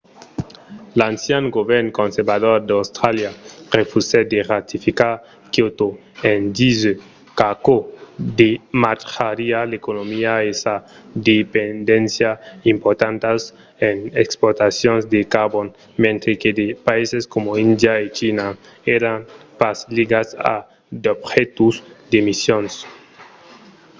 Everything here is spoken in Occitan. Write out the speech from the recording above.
l’ancian govern conservador d’austràlia refusèt de ratificar kyoto en disent qu'aquò damatjariá l’economia e sa dependéncia importantas en exportacions de carbon mentre que de païses coma índia e china èran pas ligats a d'objectius d'emissions